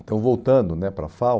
Então, voltando né para a FAU,